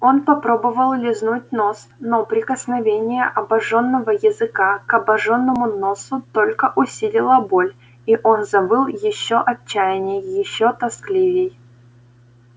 он попробовал лизнуть нос но прикосновение обожжённого языка к обожжённому носу только усилило боль и он завыл ещё отчаянней ещё тоскливей